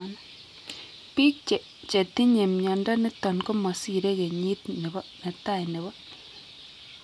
Biik chetinye mnyondo niton komasire kenyit netai nebo